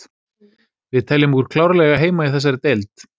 Við teljum okkur klárlega eiga heima í þessari deild.